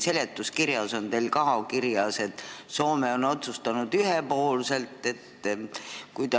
Siin seletuskirjas on ka kirjas, et Soome on seda ühepoolselt otsustanud.